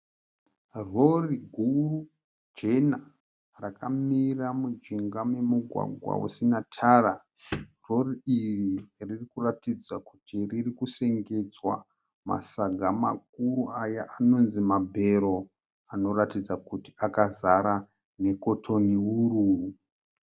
Rori guru jena rakamira mujinga memugwagwa usina tara. Rori iri riri kuratidza kuti riri kusengedzwa masaga makuru aya anonzi mabhero, anoratidza kuti akazara nekotoni wuru.